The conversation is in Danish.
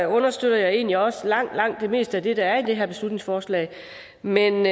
understøtter jeg egentlig også langt langt det meste af det der er i det her beslutningsforslag men